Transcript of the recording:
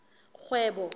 kgwebo